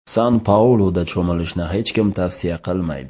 San-Pauluda cho‘milishni hech kim tavsiya qilmaydi.